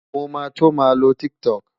Mo máa tó máa lo TikTok.